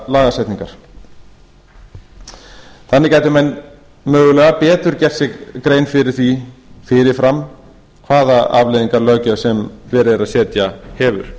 lagasetningar þannig gætu menn mögulega betur gert sér grein fyrir því fyrirfram hvaða afleiðingar löggjöf sem verið er að setja hefur